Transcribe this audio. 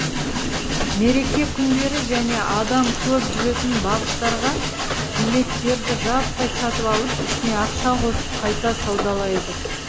мереке күндері және адам көп жүретін бағыттарға билеттерді жаппай сатып алып үстіне ақша қосып қайта саудалайды